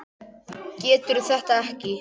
Getur þetta ekki.